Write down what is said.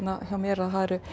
hjá mér að